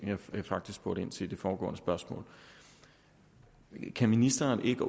som jeg faktisk spurgte ind til i det foregående spørgsmål kan ministeren ikke